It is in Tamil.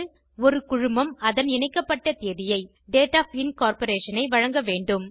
ஒரு குழுமம் அதன் இணைக்கப்பட்ட தேதியை வழங்கவேண்டும்